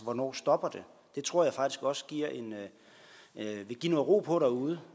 hvornår stopper det jeg tror faktisk også det vil give noget ro på derude